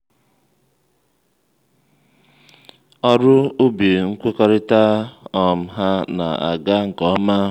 ọrụ ubi nkwekọrịta um ha na-aga nke ọma